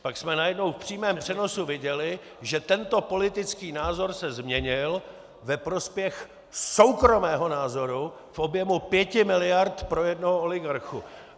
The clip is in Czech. Pak jsme najednou v přímém přenosu viděli, že tento politický názor se změnil ve prospěch soukromého názoru v objemu pěti miliard pro jednoho oligarchu.